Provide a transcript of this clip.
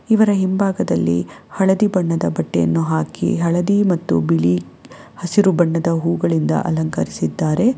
ಇವರ ಹಿಂಭಾಗದಲ್ಲಿ ಹಳದಿ ಬಣ್ಣದ ಬಟ್ಟೆಯನ್ನು ಹಾಕಿ ಹಳದಿ ಮತ್ತು ಬಿಳಿ ಹಸಿರು ಬಣ್ಣದ ಹೂಗಳಿಂದ ಅಲಂಕರಿಸಿದ್ದಾರೆ.